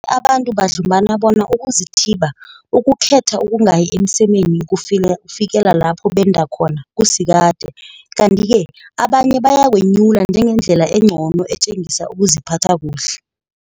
Abanye abantu badlumbana bona ukuzithiba, ukukhetha ukungayi emsemeni ukufikela lapho benda khona, kusikade, kanti-ke abanye bayakwenyula njengendlela engcono etjengisa ukuziphatha kuhle.